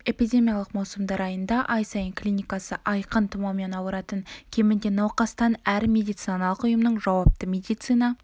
эпидемиялық маусымдарында ай сайын клиникасы айқын тұмаумен ауыратын кемінде науқастан әр медициналық ұйымның жауапты медицина